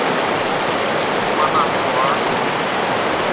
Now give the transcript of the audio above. манагуа